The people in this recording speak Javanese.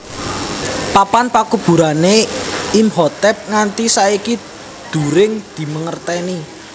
Papan pakuburané Imhotep nganti saiki during dimangertèni